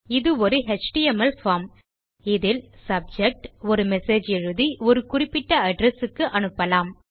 இதொரு HTML form இதில் subject ஒரு message எழுதி ஒரு குறிப்பிட்டaddress க்கு அனுப்பலாம்